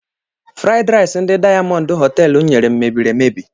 Fruid rice ndị diamond hotelú nyere m mebiri emebi.